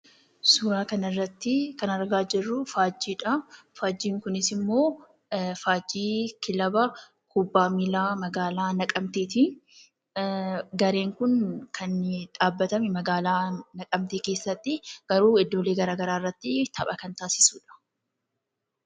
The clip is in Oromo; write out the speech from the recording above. Suuraa kanarrattii kan argaa jirruu faajjiidha. Faajjiin kunis immoo faajjii kilaba kubbaa miilaa magaalaa Naqamteetii. Gareen kun kan dhaabbatanii magaalaa Naqamtee keessattii garuu iddoolee garaa garaa irratti tapha kan taasisuudha.